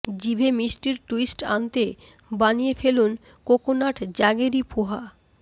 জিভে মিষ্টির ট্যুইস্ট আনতে বানিয়ে ফেলুন কোকোনাট জাগেরি পোহা